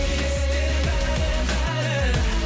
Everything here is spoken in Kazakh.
есте бәрі бәрі